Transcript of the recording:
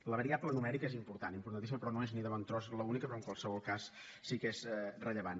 la variable numèrica és important importantíssima però no és ni de bon tros l’única però en qualsevol cas sí que és rellevant